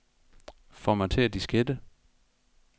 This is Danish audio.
Formatér diskette.